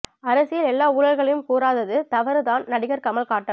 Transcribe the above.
அரசியல் எல்லா ஊழல்களையும் கூறாதது தவறு தான் நடிகர் கமல் காட்டம்